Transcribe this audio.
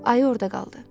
Ayı orada qaldı.